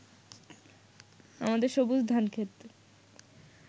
আমাদের সবুজ ধানক্ষেত